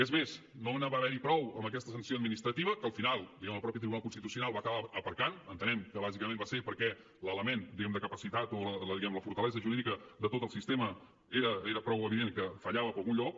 és mes no va haver n’hi prou amb aquesta sanció administrativa que al final el mateix tribunal constitucional va acabar aparcant entenem que bàsicament perquè l’element diguem ne de capacitat o la fortalesa jurídica de tot el sistema era prou evident que fallava per algun lloc